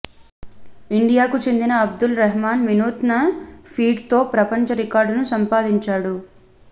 ఇండియాకు చెందిన అబ్దుల్ రెహమాన్ వినూత్న ఫీట్తో ప్రపంచ రికార్డును సంపాదించాడు